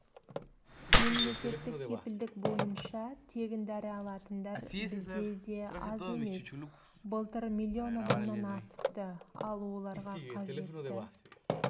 мемлекеттік кепілдік бойынша тегін дәрі алатындар бізде аз емес былтыр миллион адамнан асыпты ал оларға қажетті